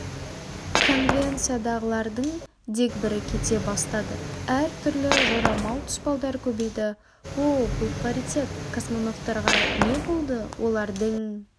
конвенциядағылардың дегбірі кете бастады әр түрлі жорамал тұспалдар көбейді оу бұл паритет космонавтарға не болды олардың